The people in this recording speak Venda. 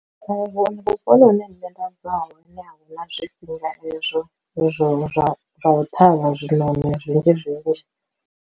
Kha vhu vhuponi hune nṋe nda bva hone a hu na zwifhinga ezwo zwa zwa zwa u ṱhavha zwinoni zwinzhi zwinzhi.